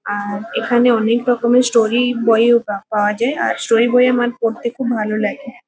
আর এখানে অনেকরকমের স্টোরি বইও পা পাওয়া যায়। আর স্টোরি বই আমারপড়তে খুব ভালো লাগে।